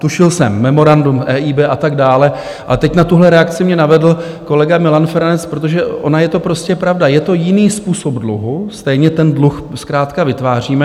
Tušil jsem, memorandum EIB a tak dále, ale teď na tuhle reakci mě navedl kolega Milan Feranec, protože ona je to prostě pravda, je to jiný způsob dluhu, stejně ten dluh zkrátka vytváříme.